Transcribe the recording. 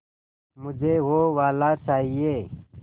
मुझे वो वाला चाहिए